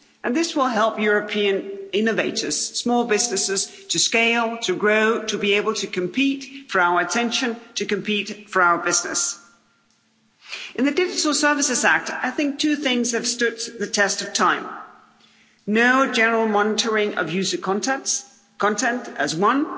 This will help European innovators, small businesses, to scale, to grow, to be able to compete for our attention, to compete for our business. With the Digital Services Act I think two things have stood the test of time no general monitoring of user content is one